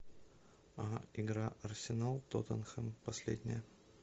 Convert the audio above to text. игра арсенал тоттенхэм последняя